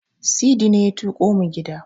Sidi ne ya tuƙo mu gida.